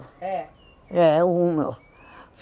É. É, o Hummel.